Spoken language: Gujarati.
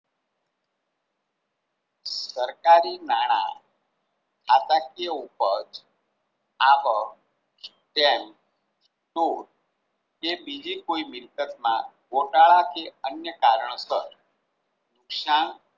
સરકારી નાણાં ખાતાકીય ઉપજ આપ ટ્રેન કે બીજી કોઈ Mistake આ ગોટાળા કે અન્ય કારણોસર શ્યામ